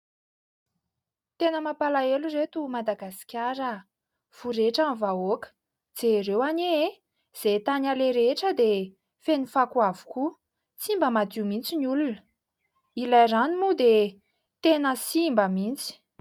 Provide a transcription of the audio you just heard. Tena mampalahelo ry ireto Madagasikara. Voretra ny vahoaka. Jereo anie e ! Izay tany aleha rehetra dia feno fako avokoa, tsy mba madio mihitsy ny olona. Ilay rano moa dia tena simba mihitsy.